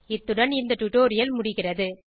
இத்துடன் இந்த டுடோரியல் முடிகிறது